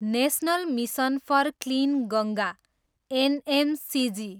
national mission for clean Ganga, NMCG